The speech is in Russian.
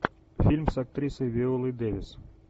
фильм с актрисой виолой дэвис